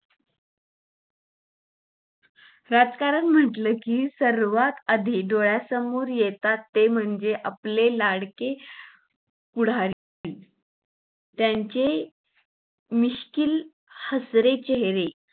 राजकारण म्हंटल कि सर्वात आधी डोळ्यासमोर येतात ते म्हणजे आपले लाडके पुढारी त्यांचे मिश्किल हसरे चेहरे